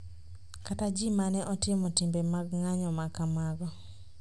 kata ji ma ne otimo timbe mag ng’anjo ma kamago